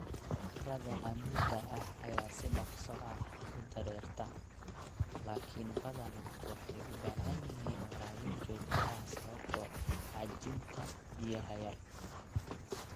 Carrada cammuudda ah ayaa si dhakhso ah u dareerta, laakiin badanaa waxay u baahan yihiin waraabin joogto ah sababtoo ah xajinta biyaha oo yar.